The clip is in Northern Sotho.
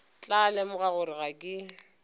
tla lemoga gore ga ke